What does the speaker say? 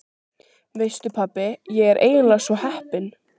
Veistu pabbi, ég er eiginlega svo heppin.